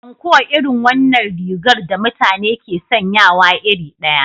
Anko irin wannan rigar da mutane ke sanyawa iri ɗaya.